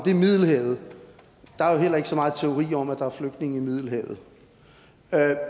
er middelhavet og der er jo heller ikke så meget teori om at der er flygtninge i middelhavet